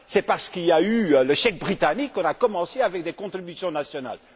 C'est parce qu'il y a eu le chèque britannique qu'on a commencé avec des contributions nationales.